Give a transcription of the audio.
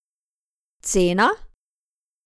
Cena?